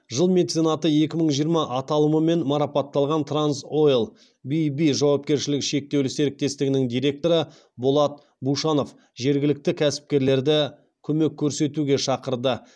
жыл меценаты екі мың жиырма аталымымен марапатталған транс ойл бб жауапкершілігі шектеулі серіктестігінің директоры болат бушанов жергілікті кәсіпкерлерді көмек көрсетуге шақырды